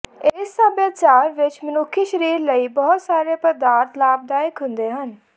ਇਸ ਸਭਿਆਚਾਰ ਵਿੱਚ ਮਨੁੱਖੀ ਸਰੀਰ ਲਈ ਬਹੁਤ ਸਾਰੇ ਪਦਾਰਥ ਲਾਭਦਾਇਕ ਹੁੰਦੇ ਹਨ